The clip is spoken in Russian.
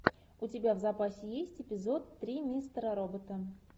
у тебя в запасе есть эпизод три мистера робота